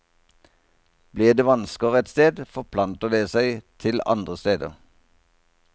Blir det vansker et sted, forplanter det seg til andre steder.